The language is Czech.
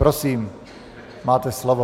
Prosím, máte slovo.